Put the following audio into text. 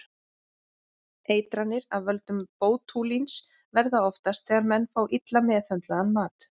Eitranir af völdum bótúlíns verða oftast þegar menn fá illa meðhöndlaðan mat.